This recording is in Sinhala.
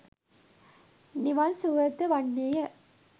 නිවන් සුවය ද වන්නේය.